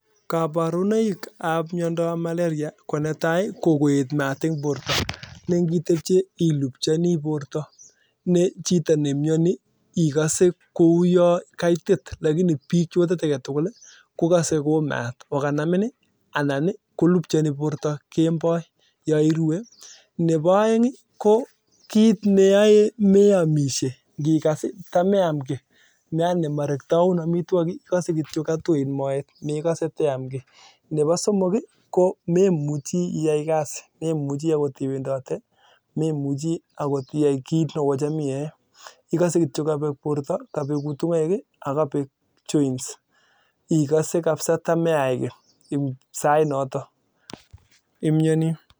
Kabarunaik ab malaria ko netai ii kokoet maat ing borto nelubchani borto neboo aeng ii ko mekasee teamishe ikasee tui moet ako koraa memuchii iai kasii akot iwendotee ko memuchii